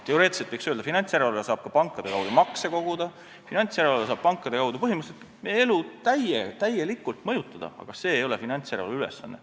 Teoreetiliselt võiks öelda, et finantsjärelevalve saab pankade kaudu ka makse koguda, finantsjärelevalve saab pankade kaudu põhimõtteliselt meie elu täielikult mõjutada, aga see ei ole finantsjärelevalve ülesanne.